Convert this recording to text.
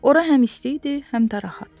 Ora həm isti idi, həm də rahat.